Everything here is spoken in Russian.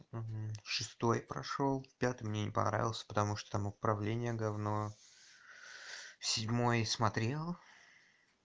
шестой прошёл пятый мне не понравился потому что там управление говно седьмой смотрел